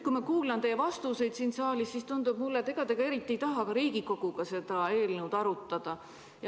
Kui ma kuulan teie vastuseid siin saalis, siis tundub mulle, et ega te eriti ei taha ka Riigikoguga seda eelnõu arutada.